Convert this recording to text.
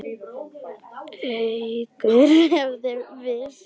Haukur hefðu veikst.